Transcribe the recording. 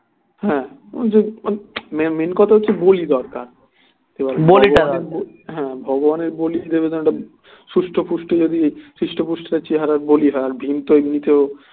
হ্যাঁ ওই যে ওই main কথা হচ্ছে বলি দরকার হ্যাঁ ভগবানের বলি দেবে তেমন একটা সুস্থ পুষ্ট যদি সুস্থ পুষ্ট চেহারার বলি হয় আর ভীম তো এমনিতেও